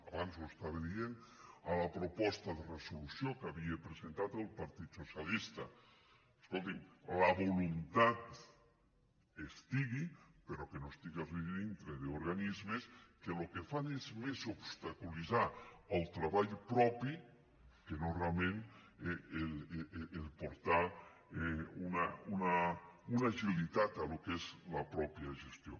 abans ho estava dient a la proposta de resolució que havia presentat el partit socialista escoltin la voluntat hi estigui pe·rò que no estigui dintre d’organismes que el que fan és més obstaculitzar el treball propi que no realment portar una agilitat al que és la mateixa gestió